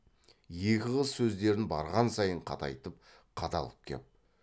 екі қыз сөздерін барған сайын қатайтып қадалып кеп